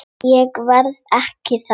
Ég verð ekki þar.